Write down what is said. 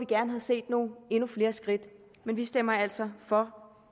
gerne set endnu flere skridt men vi stemmer altså for